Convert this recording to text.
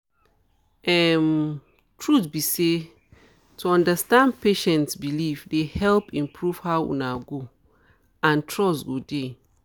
um truth be say to understand patient beliefs dey help improve how una go and trust go dey